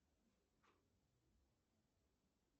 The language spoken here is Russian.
какие ты знаешь